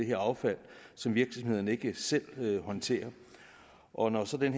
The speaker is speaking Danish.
det affald som virksomhederne ikke selv håndterer og når så den